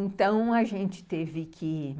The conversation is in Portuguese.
Então, a gente teve que